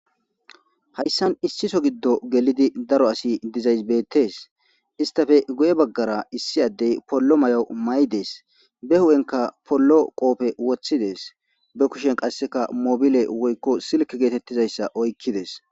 Hayssan issiso giddo gelidi daro asi dizaysbeettes istafe go7e baggara issi addey pollo may7o may7 dees be hu7enka pollo qoope woththidees be kushen qasseka mobile woykko silki geetettizayssa oykkides.